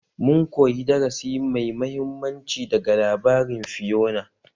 Mun koyi darasi mai mahimmanci daga labarin Fiyona